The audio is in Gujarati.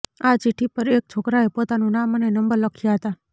આ ચિઠ્ઠી પર એક છોકરાએ પોતાનું નામ અને નંબર લખ્યા હતા